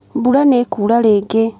Mbura nĩ ĩkuura rĩngĩ.